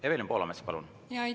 Evelin Poolamets, palun!